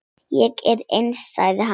Ég er eins, sagði hann.